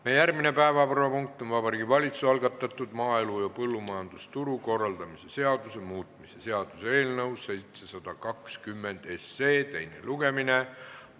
Meie järgmine päevakorrapunkt on Vabariigi Valitsuse algatatud maaelu ja põllumajandusturu korraldamise seaduse muutmise seaduse eelnõu 720 teine lugemine.